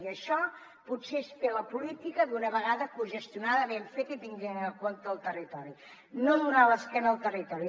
i això potser és fer la política d’una vegada cogestionada ben feta i tenint en compte el territori no donant l’esquena al territori